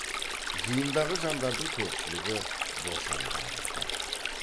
жиындағы жандардың көпшілігі бошан тәрізді